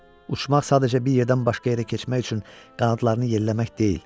Uçmaq sadəcə bir yerdən başqa yerə keçmək üçün qanadlarını yelləmək deyil.